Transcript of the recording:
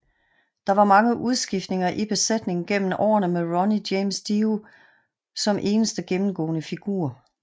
Der var mange udskiftninger i besætningen gennem årene med Ronnie James Dio som eneste gennemgående figur